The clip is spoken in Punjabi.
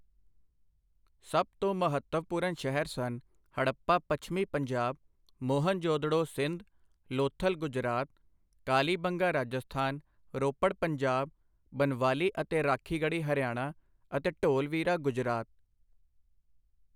ਸਭ ਤੋਂ ਮਹੱਤਵਪੂਰਨ ਸ਼ਹਿਰ ਸਨ ਹੜੱਪਾ ਪੱਛਮੀ ਪੰਜਾਬ ਮੋਹਨਜੋਦੜੋ ਸਿੰਧ ਲੋਥਲ ਗੁਜਰਾਤ ਕਾਲੀਬੰਗਾ ਰਾਜਸਥਾਨ ਰੋਪੜ ਪੰਜਾਬ ਬਨਵਾਲੀ ਅਤੇ ਰਾਖੀਗੜ੍ਹੀ ਹਰਿਆਣਾ ਅਤੇ ਢੋਲਵੀਰਾ ਗੁਜਰਾਤ।